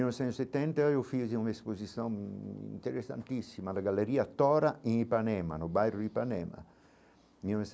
Em mil novecentos e setenta eu fiz uma exposição interessantíssima da galeria Torra em Ipanema, no bairro de Ipanema, em mil